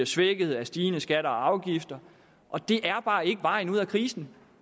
svækkes af stigende skatter og afgifter det er bare ikke vejen ud af krisen